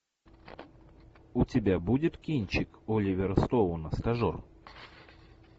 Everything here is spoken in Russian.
у тебя будет кинчик оливера стоуна стажер